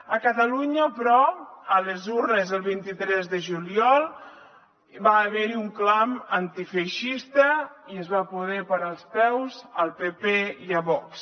a catalunya però a les urnes el vint tres de juliol va haver hi un clam antifeixista i es va poder parar els peus al pp i a vox